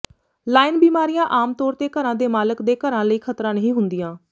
lawn ਬਿਮਾਰੀਆਂ ਆਮ ਤੌਰ ਤੇ ਘਰਾਂ ਦੇ ਮਾਲਕ ਦੇ ਘਰਾਂ ਲਈ ਖ਼ਤਰਾ ਨਹੀਂ ਹੁੰਦੀਆਂ